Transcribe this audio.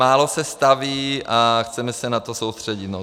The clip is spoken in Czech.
Málo se staví a chceme se na to soustředit.